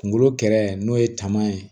Kunkolo kɛrɛ n'o ye taama ye